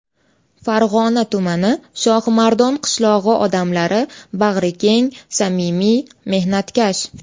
Farg‘ona tumani Shohimardon qishlog‘i odamlari bag‘rikeng, samimiy, mehnatkash.